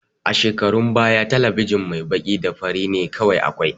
A shekarun baya talabijin mai baƙi da fari ne kawai akwai